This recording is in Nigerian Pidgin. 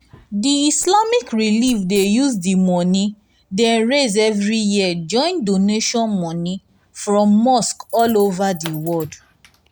the islamic relief dey use di money dey raise every year join doantion money from mosque all over di world.